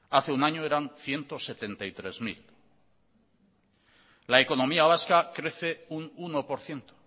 hace un año eran ciento setenta y tres mil la economía vasca crece un uno por ciento